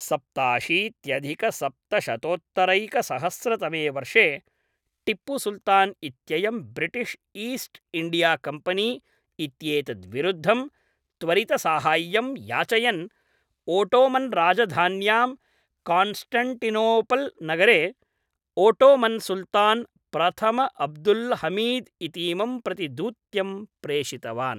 सप्ताशीत्यधिकसप्तशतोत्तरैकसहस्रतमे वर्षे टिप्पुसुल्तान् इत्ययं British east India Company इत्येतद्विरुद्धं त्वरितसाहाय्यं याचयन् ओटोमन्राजधान्यां कान्स्टन्टिनोपल्नगरे Ottoman सुल्तान् प्रथमअब्दुल्हमीद् इतीमं प्रति दूत्यं प्रेषितवान्।